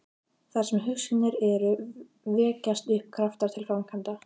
Þar sem hugsjónir eru, vekjast upp kraftar til framkvæmda.